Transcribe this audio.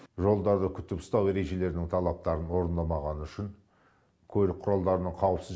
жолдарды күтіп ұстау ережелерінің талаптарын орындамағаны үшін көлік құралдарының қауіпсіз